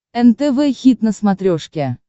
нтв хит на смотрешке